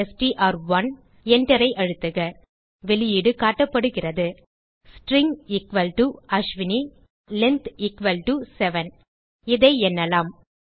Enterஐ அழுத்துக வெளியீடு காட்டப்படுகிறது ஸ்ட்ரிங் அஸ்வினி லெங்த் 7 இதை எண்ணலாம்